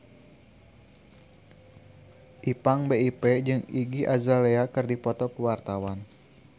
Ipank BIP jeung Iggy Azalea keur dipoto ku wartawan